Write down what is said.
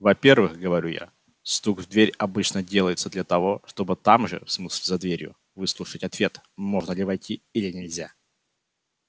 во-первых говорю я стук в дверь обычно делается для того чтобы там же в смысле за дверью выслушать ответ можно ли войти или нельзя